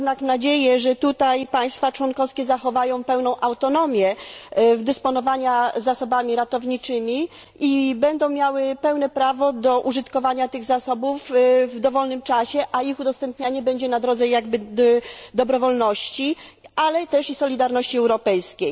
Mam jednak nadzieję, że tutaj państwa członkowskie zachowają pełną autonomię dysponowania zasobami ratowniczymi i będą miały pełne prawo do użytkowania tych zasobów w dowolnym czasie, a ich udostępnianie będzie na drodze dobrowolności, ale też i solidarności europejskiej.